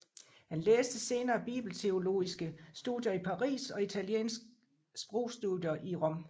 Han læste senere bibelteologiske studier i Paris og italiensk sprogstudier i Rom